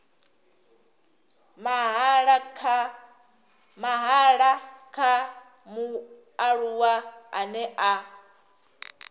mahala kha mualuwa ane a